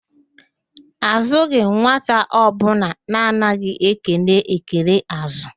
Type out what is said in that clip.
Azụghị nwata ọbụla na-anaghị ekele ekele ázụ́